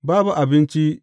Babu abinci!